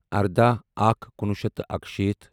ارداہ اکھ کُنوُہ شیٚتھ تہٕ اَکشیٖتھ